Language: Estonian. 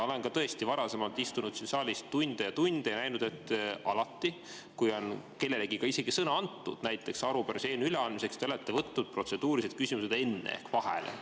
Olen ka varasemalt istunud siin saalis tunde ja tunde ja näinud, et alati, kui kellelegi on sõna antud näiteks arupärimise või eelnõu üleandmiseks, siis te olete alati võtnud protseduurilised küsimused enne vahele.